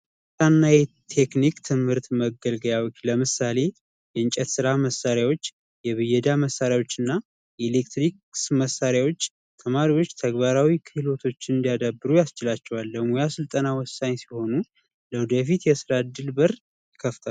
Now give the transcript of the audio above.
የሙያና ቴክኒክ መገልገያ መሳሪያዎች ለምሳሌ የእንጨት መገልገያ መሳሪያዎች፣ የብየዳ መሳሪያዎችና የኤሌክትሪክ መሳሪያዎች ተማሪዎች ተግባራዊ ክህሎቶችን እንዲያዳብሩ ያስችላቸዋል። ለሙያ ስልጠና ወሳኝ ሲሆኑ ለወደፊት የስራ እድል በር ይከፍታሉ።